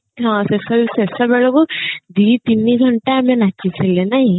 ହଁ ସେସବୁ ଶେଷ ବେଳକୁ ଦି ତିନିଘଣ୍ଟା ଆମେ ନାଚିଥିଲେ ନାଇଁ